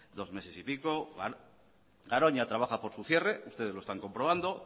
dos meses y pico garoña trabaja por su cierre ustedes lo están comprobando